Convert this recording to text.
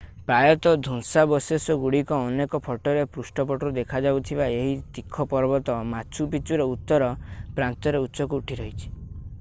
ପ୍ରାୟତଃ ଧ୍ୱଂସାବଶେଷଗୁଡ଼ିକର ଅନେକ ଫଟୋର ପୃଷ୍ଠପଟରେ ଦେଖାଯାଉଥିବା ଏହି ତୀଖ ପର୍ବତ ମାଚୁ ପିଚୁର ଉତ୍ତର ପ୍ରାନ୍ତରେ ଉଚ୍ଚକୁ ଉଠି ରହିଛି